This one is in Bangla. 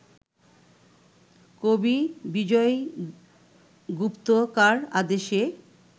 কবি বিজয়গুপ্ত কার আদেশে